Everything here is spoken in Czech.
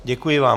Děkuji vám.